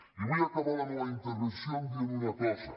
i vull acabar la meua intervenció dient una cosa